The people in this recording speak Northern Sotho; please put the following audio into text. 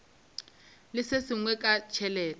le se sengwe ka tšhelete